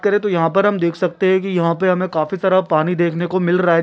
कर तो यहाँ पर हम देख सकते है कि यहाँ पे हमें काफी सारा पानी देखने को मिल रहा है।